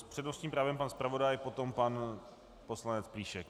S přednostním právem pan zpravodaj, potom pan poslanec Plíšek.